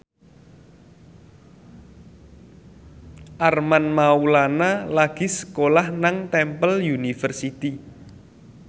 Armand Maulana lagi sekolah nang Temple University